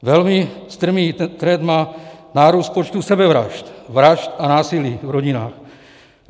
Velmi strmý trend má nárůst počtu sebevražd, vražd a násilí v rodinách.